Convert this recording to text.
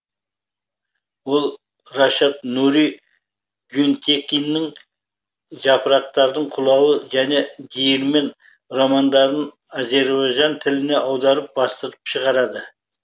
ол рашад нури гюнтекиннің жапырақтың құлауы және диірмен романдарын азербайжан тіліне аударып бастырып шығарды